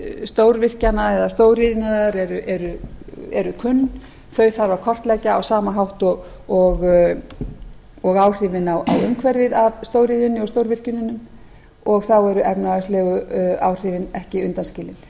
stórvirkjana eða stóriðjunnar eru kunn þau þarf að kortleggja á sama hátt og áhrifin á umhverfið af stóriðjunni og stórvirkjunum og þá eru efnahagslegu áhrifin ekki undanskilin